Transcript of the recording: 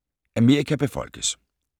Amerika befolkes